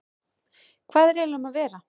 Hvað er eiginlega um að vera?